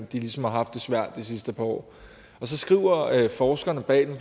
de ligesom har haft det svært de sidste par år forskerne bag den